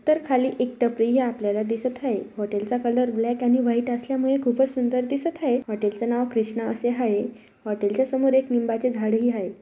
तर खाली एक टपरी ही आपल्याला दिसत आहे हॉटेल चा कलर ब्लॅक आणि व्हाइट असल्यामुळे खूपच सुंदर दिसत आहेत हॉटेल च नाव कृष्णा असे आहे हॉटेल च्या समोर एक लिंबाचे झाडही आहे.